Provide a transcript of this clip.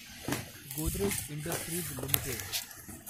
Godrej industries limited